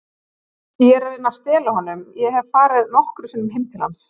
Ég er að reyna að stela honum, ég hef farið nokkrum sinnum heim til hans.